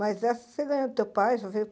Mas essa você ganhou do teu pai?